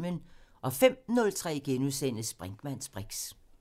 05:03: Brinkmanns briks *